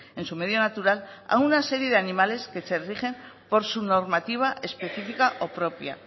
en su medio natural a una serie de animales que se rigen por su normativa específica o propia